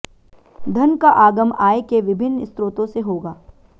धन का आगम आय के विभिन्न स्रोतों से होगा